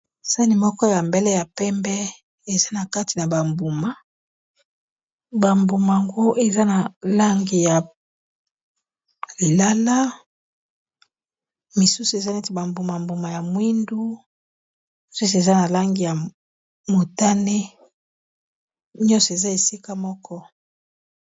Sani moko ya mbele ya pembe eza na kati na ba mbuma, ba mbuma ngo eza na langi ya lilala, misusu eza neti ba mbuma mbuma ya mwindu, misusu eza na langi ya motane, nyonso eza esika moko.